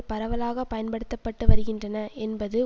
பரவலாக பயன்படுத்தப்பட்டுவருகின்றன என்பது